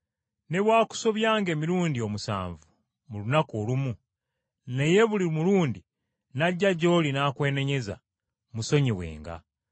Ne bw’akusobyanga emirundi omusanvu mu lunaku olumu, naye buli mulundi n’ajja gy’oli n’akwenenyeza, musonyiwenga.”